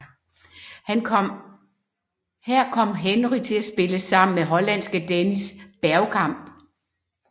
Her kom Henry til at spille sammen med hollandske Dennis Bergkamp